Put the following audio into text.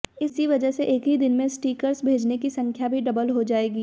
इस वजह से एक ही दिन में स्टिकर्स भेजने की संख्या भी डबल हो जाएगी